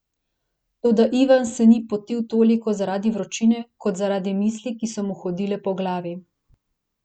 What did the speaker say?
Toda Ivan se ni potil toliko zaradi vročine kot zaradi misli, ki so mu hodile po glavi.